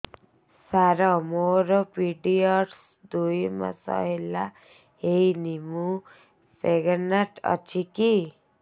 ସାର ମୋର ପିରୀଅଡ଼ସ ଦୁଇ ମାସ ହେଲା ହେଇନି ମୁ ପ୍ରେଗନାଂଟ ଅଛି କି